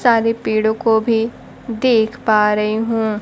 सारे पेड़ों को भी देख पा रही हूं।